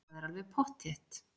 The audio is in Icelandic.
Það er alveg pottþétt.